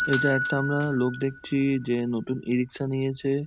এটা একটা আমরা লোক দেখছি যে নতুন ই -রিকশা নিয়েছে।